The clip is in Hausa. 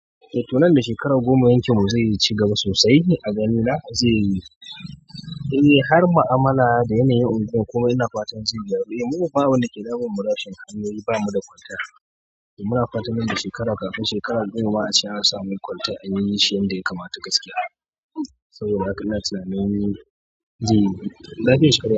Eh to, nan da shekara goma yankin mu zai iya cigaba sosai a ganina, zai yi--- har mu'amala da yanayin unguwar komai ina fatan zai cigaba muna fatan nan da shekara kafin shekarar goma a ce an samu kwalta an yi shi yan da ya kamata gaskiya. Saboda haka ina tsammanin zai yi.